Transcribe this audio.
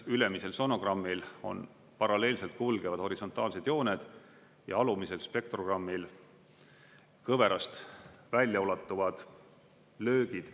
Ülemisel sonogrammil on paralleelselt kulgevad horisontaalsed jooned ja alumisel, spektrogrammil kõverast väljaulatuvad löögid.